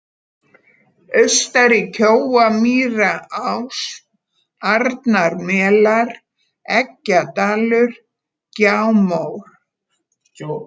Austari-Kjóamýrarás, Arnarmelar, Eggjadalur, Gjámór